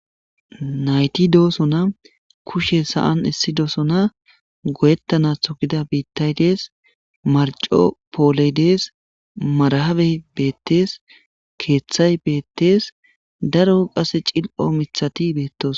Nayti dooso na kushe sa7an issi dooso na goyettana thogida biittay dees marco pooley dees marahabe beettees keeththay beettees daro qase cil7o mithati beettos.